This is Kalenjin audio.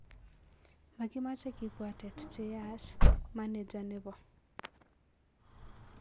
Makimache kipwatet che yach,,maneja nepo